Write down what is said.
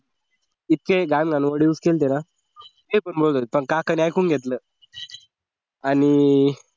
इतके घाण घाण word use केले होते ना हे पण बोलत होते पण काकांनी ऐकून घेतलं आणि अह